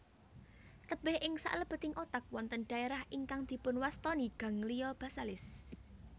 Tebih ing saklebeting otak wonten dhaerah ingkang dipunwastani ganglia basalis